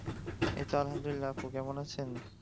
এই তো আলহামদুলিল্লাহ আপু কেমন আছেন?